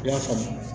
I y'a faamu